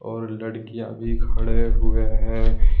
और लड़कियां भी खड़े हुए हैं।